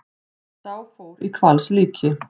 Sá fór í hvalslíki.